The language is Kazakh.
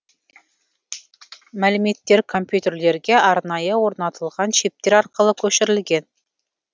мәліметтер компьютерлерге арнайы орнатылған чиптер арқылы көшірілген